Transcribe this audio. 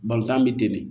Balɔntan biten